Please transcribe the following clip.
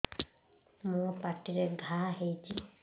ମୋର ପାଟିରେ ଘା ହେଇଚି